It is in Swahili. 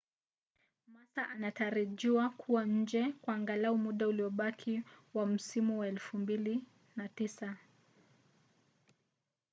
massa anatarajiwa kuwa nje kwa angalau muda uliobaki wa msimu wa 2009